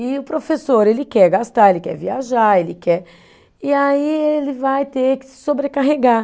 E o professor, ele quer gastar, ele quer viajar, ele quer. E aí ele vai ter que se sobrecarregar.